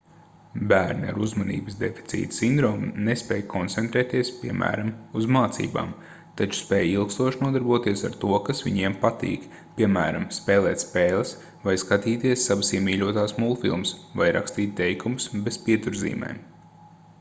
bērni ar uzmanības deficīta sindromu nespēj koncentrēties piemēram uz mācībām taču spēj ilgstoši nodarboties ar to kas viņiem patīk piemēram spēlēt spēles vai skatīties savas iemīļotās multfilmas vai rakstīt teikumus bez pieturzīmēm